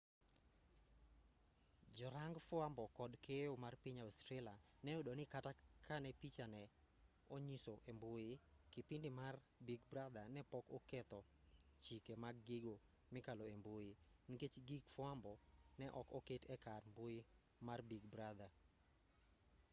jorang fwambo kod keyo mar piny australia ne oyudo ni kata kane picha ne inyiso e mbui kipindi mar big brother ne pok oketho chike mag gigo mikalo embui nikech gig fwambo ne ok oket e kar mbui mar big brother